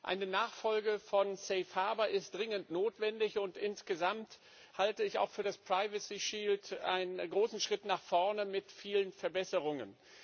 Eine Nachfolge von Safe Harbor ist dringend notwendig, und insgesamt halte ich auch den Datenschutzschild für einen großen Schritt nach vorne mit vielen Verbesserungen.